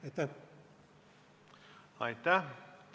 Aitäh!